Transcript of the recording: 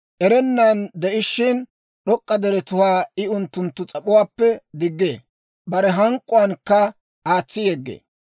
Erennan de'ishiina, d'ok'k'a deretuwaa I unttunttu sa'aappe diggee; bare hank'k'uwaankka aatsi yeggee.